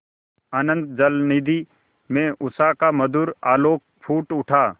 अनंत जलनिधि में उषा का मधुर आलोक फूट उठा